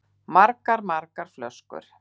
Margar, margar flöskur.